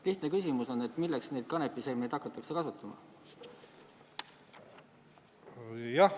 Lihtne küsimus on: milleks neid kanepiseemneid hakatakse kasutama?